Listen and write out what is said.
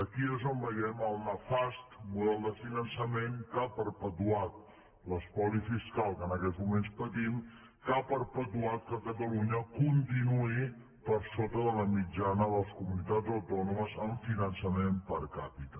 aquí és on veiem el nefast model de finançament que ha perpetuat l’espoli fiscal que en aquests moments tenim que ha perpetuat que catalunya continuï per sota de la mitjana de les comunitats autònomes amb finançament per capita